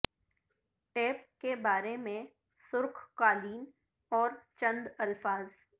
tape کے بارے میں سرخ قالین اور چند الفاظ